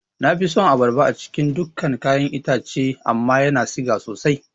Nafi son abarba a cikin dukan ƴaƴan itace amma yana siga sosai